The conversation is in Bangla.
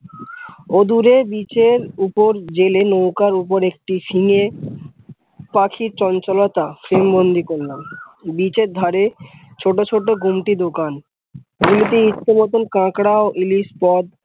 অদুরে beach এর উপর জেলে লউকার উপরে একটি seeing এ পাখির চঞ্চালতা frame বন্দি করলাম। beach এর ধারে ছোট ছোট গুমটি দোকান নিজেদের ইছা মত কাঙরা ও ইলিশ